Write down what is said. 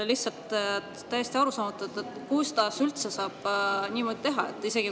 Lihtsalt täiesti arusaamatu, kuidas üldse saab niimoodi teha!